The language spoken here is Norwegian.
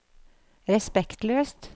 respektløst